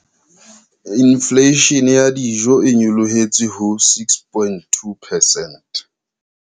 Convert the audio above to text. Infleishene ya dijo e nyolohetse ho 6.2 percent.